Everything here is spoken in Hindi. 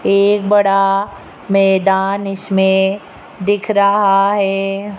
एक बड़ा मैदान इसमें दिख रहा है।